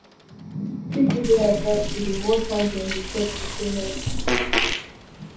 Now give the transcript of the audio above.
people dey advised to dey watch how dem dey chop to stay healthy